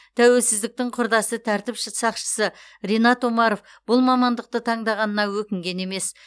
тәуелсіздіктің құрдасы тәртіп ші сақшысы ринат омаров бұл мамандықты таңдағанына өкінген емес